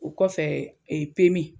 O kɔfɛ